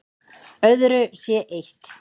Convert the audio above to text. Öðru sé eytt